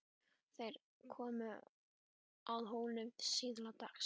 Þeir komu að Hólum síðla dags.